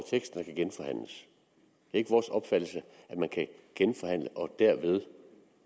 ikke vores opfattelse at man kan genforhandle og derved